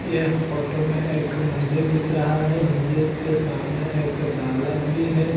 यह फोटो मे एक मंदिर दिख रहा है मंदिर के सामने एक तालाब भी है।